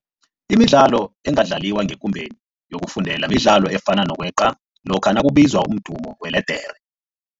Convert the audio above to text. Imidlalo engadlaliwa ngekumbeni yokufundela midlalo efana nokweqa lokha nakubizwa umdumo weledere.